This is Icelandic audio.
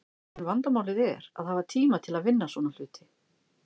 En vandamálið er að hafa tíma til að vinna svona hluti.